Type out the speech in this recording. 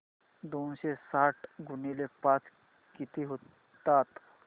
दोनशे साठ गुणिले पाच किती होतात